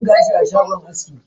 Akwai man gashi a shagon aski.